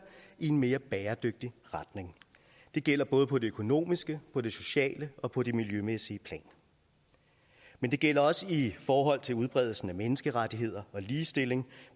i en mere bæredygtig retning det gælder både på det økonomiske på det sociale og på det miljømæssige plan men det gælder også i forhold til udbredelsen af menneskerettigheder og ligestilling